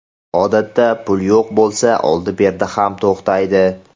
Odatda, pul yo‘q bo‘lsa, oldi-berdi ham to‘xtaydi.